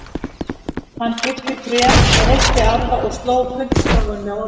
Hann klippti tré, reytti arfa og sló puntstráin með orfi.